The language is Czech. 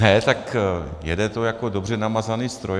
Ne, tak jede to jako dobře namazaný stroj.